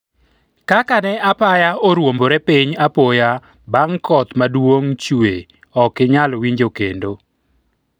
kaka ne apaya oruombore piny apoya bang' koth maduong' chwe ok inyal winjo kendo